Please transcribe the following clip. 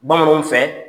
Bamananw fɛ